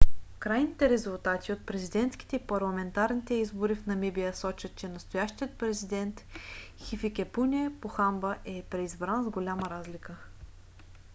крайните резултати от президентските и парламентарните избори в намибия сочат че настоящият президент хификепунe похамба е преизбран с голяма разлика